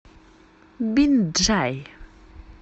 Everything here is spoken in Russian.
бинджай